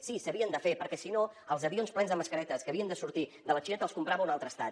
sí s’havien de fer perquè si no els avions plens de mascaretes que havien de sortir de la xina els comprava un altre estat